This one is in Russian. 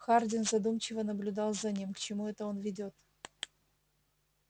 хардин задумчиво наблюдал за ним к чему это он ведёт